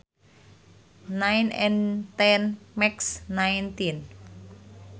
Nine and ten makes nineteen